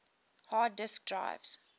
hard disk drives